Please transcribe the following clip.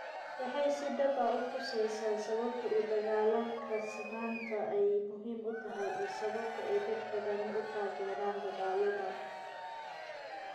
Waxay si dhab ah u tuseysaa sababta u dagaallanka sinnaanta ay muhiim u tahay iyo sababta ay dad badani u taageereen dadaalladan.